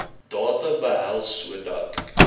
data behels sodat